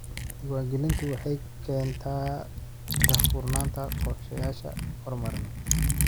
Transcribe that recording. Diiwaangelintu waxay keentaa daahfurnaanta qorshayaasha horumarineed.